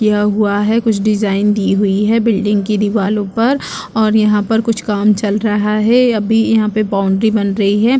कियाा हुआ है कुछ डिजाइन की हुई है बिल्डिंग की दीवारों पर और यहाँ पर कुछ काम चल रहा है अभी यहाँ पर बाउंड्री बना रही है।